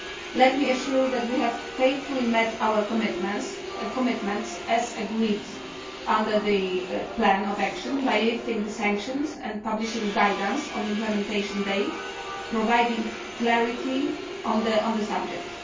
Let me assure you that we have faithfully met our commitments, as agreed under the plan of action, by lifting the sanctions and publishing guidance on implementation day, providing clarity on the subject.